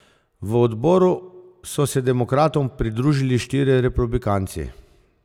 V odboru so se demokratom pridružili štirje republikanci.